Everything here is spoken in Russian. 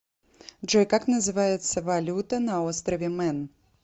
джой как называется валюта на острове мэн